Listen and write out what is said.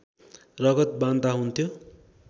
रगत बान्ता हुन्थ्यो